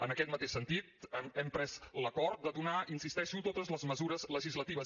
en aquest mateix sentit hem pres l’acord de donar hi insisteixo totes les mesures legislatives